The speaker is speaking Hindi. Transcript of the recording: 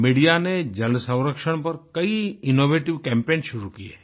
मीडिया ने जल संरक्षण पर कई इनोवेटिव कैम्पेन शुरू किये हैं